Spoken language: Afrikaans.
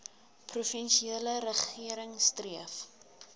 provinsiale regering streef